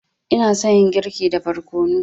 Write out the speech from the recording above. Ina son yin girki da barkono.